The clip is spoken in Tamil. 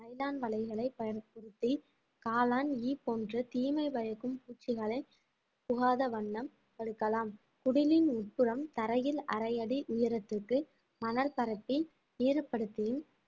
நைலான் வலைகளை பயன்படுத்தி காளான் ஈ போன்ற தீமை பயக்கும் பூச்சிகளை புகாத வண்ணம் தடுக்கலாம் குடிலின் உட்புறம் தரையில் அரை அடி உயரத்திற்கு மணல் பரப்பி ஈரப்படுத்தியும்